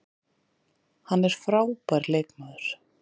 Hann er frábær leikmaður